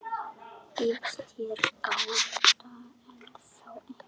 Býðst hér gáta ennþá ein,.